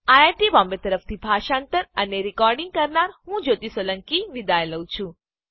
iit Bombay તરફથી spoken tutorial project માટે ભાષાંતર કરનાર હું જ્યોતી સોલંકી વિદાય લઉં છું